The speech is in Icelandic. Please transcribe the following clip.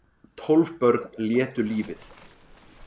Tólf börn létu lífið